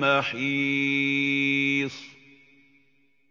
مَّحِيصٍ